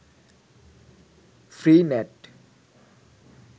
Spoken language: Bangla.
free net